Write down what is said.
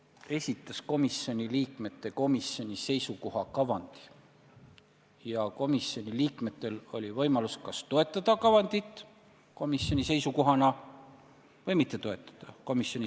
Komisjoni esimees esitas komisjoni liikmete komisjoni seisukoha kavandi ja komisjoni liikmetel oli võimalus kas toetada kavandit komisjoni seisukohana või mitte toetada.